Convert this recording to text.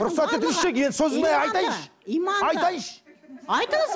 рұқсат етіңізші енді сөзін мен айтайыншы айтайыншы айтыңыз